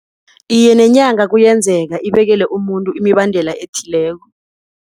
Iye, nenyanga kuyenzeka ibekele umuntu imibandela ethileko.